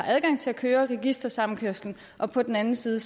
adgang til at lave registersamkøring og på den anden side